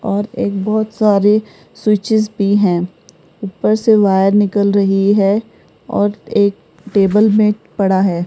और एक बहुत सारे स्विचस भी हैं ऊपर से वायर निकल रही है और एक टेबल में पड़ा है।